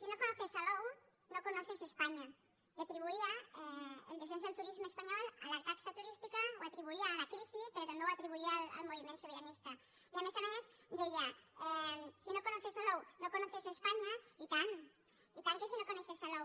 si no conoces salou no conoces españa i atribuïa el descens del turisme espanyol a la taxa turística ho atribuïa a la crisi però també ho atribuïa al moviment sobiranista i a més a més deia si no conoces salou no conoces españa i tant i tant que si no coneixes salou